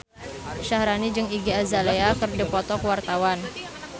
Syaharani jeung Iggy Azalea keur dipoto ku wartawan